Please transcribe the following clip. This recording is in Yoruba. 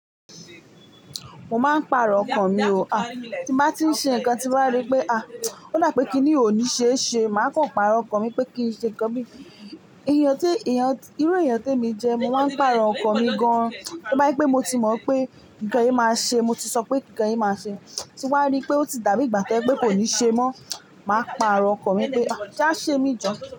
Mo máa ń pàrọ̀ ọkàn mi o. Ah, tí bá ti ń ṣe nǹkan tí wá rí pé ah, ó dà pé kí ni ò ní ṣe ṣe, màá kàn pàrọ̀ ọkàn mi pé kí n ṣe nǹkan mi. Ìyẹn tí, ìyẹn, irú èèyàn tí èmi jẹ, mo máa ń pàrọ̀ ọkàn mi gan. Tó bá jẹ́ pé mo ti mọ̀ pé nǹkan yìí máa ṣe, mo ti sọ pé nǹkan yìí máa ṣe, tí wá rí pé ó ti dàbí ìgbà tó jẹ́ pé kò ní ṣe mọ́, màá pàrọ̀ ọkàn mi pé ah, já ṣé mi jọ.